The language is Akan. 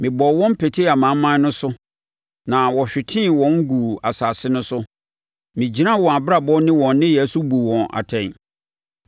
Mebɔɔ wɔn petee amanaman no so na wɔhwetee wɔn guu nsase no so; megyinaa wɔn abrabɔ ne wɔn nneyɛɛ so buu wɔn atɛn.